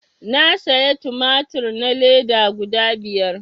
Na saya tumatur na leda guda biyar